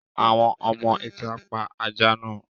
Àwọn ọmọ-ìtà pa ajá náà.